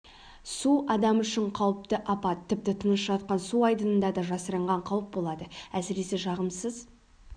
су адам үшін қауіпті апат тіпті тыныш жатқан су айдынында да жасырынған қауіп болады әсіресе жағымсыз